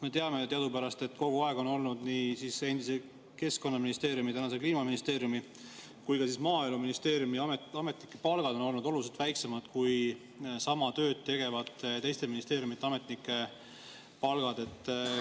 Me teame ju, et kogu aeg on olnud nii endise Keskkonnaministeeriumi, tänase Kliimaministeeriumi kui ka Maaeluministeeriumi ametnike palgad olnud oluliselt väiksemad kui sama tööd tegevate teiste ministeeriumide ametnike palgad.